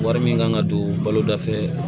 Wari min kan ka don balo da fɛ